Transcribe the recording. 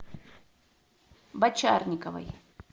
бочарниковой